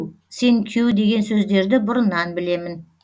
сенкю деген сөздерді бұрыннан білемін